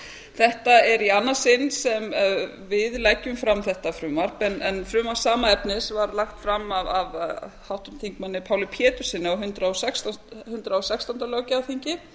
þetta er í annað sinn sem við leggjum fram þetta frumvarp en frumvarp sama efnis var lagt fram af háttvirtum þingmanni páli péturssyni á hundrað og sextándu löggjafarþingi